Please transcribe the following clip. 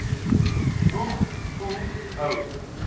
moeg voel hou